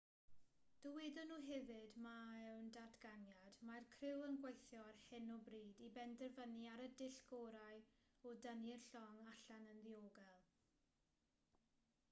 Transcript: dywedon nhw hefyd mewn datganiad mae'r criw yn gweithio ar hyn o bryd i benderfynu ar y dull gorau o dynnu'r llong allan yn ddiogel